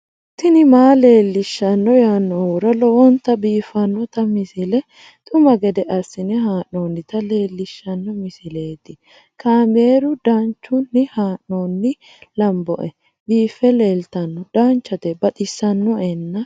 tini maa leelishshanno yaannohura lowonta biiffanota misile xuma gede assine haa'noonnita leellishshanno misileeti kaameru danchunni haa'noonni lamboe biiffe leeeltanno danchate baxissinoena